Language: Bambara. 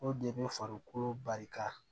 O de bɛ farikolo barika